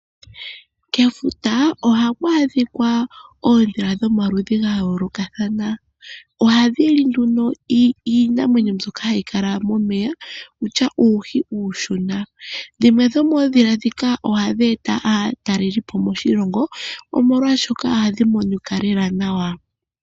Kefuta ohaku adhika oondhila dhomaludhi ga yoolokathana. Ohadhi li nduno iinamwenyo mbyoka hayi kala momeya, kutya uuhi uushona. Dhimwe dhomoondhila ndhika ohadhi eta aatalelipo moshilongo, omolwashoka ohadhi monika lela nawa.